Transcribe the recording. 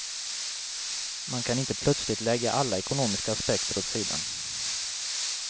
Man kan inte plötsligt lägga alla ekonomiska aspekter åt sidan.